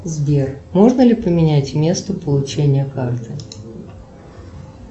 сбер можно ли поменять место получения карты